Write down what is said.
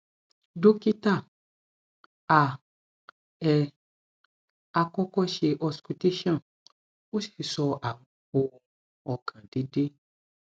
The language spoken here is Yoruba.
dokita a e akọkọ ṣe auscultation o si sọ awọn ohun ọkan deede